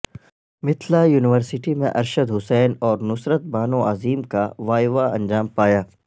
Mithila university میں ارشد حسین اور نصرت بانو عظیم کا وائیوا انجام پایا